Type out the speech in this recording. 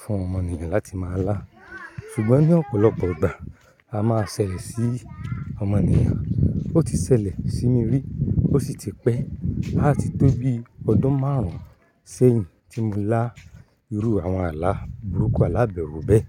fún ọmọ ènìyàn láti má lá, ṣùgbọ́n ní ọ̀pọ̀lọpọ̀ ìgbà a má ṣẹlẹ̀ sí ọmọ ènìyàn. Ó ti ṣẹlẹ̀ sí mi rí, ó sì ti pẹ́ a ti tó bí ọdún márùn ún sẹ́yìn tí mo lá irú àwọn àlà burúkú alàbẹrú bẹ́ẹ̀.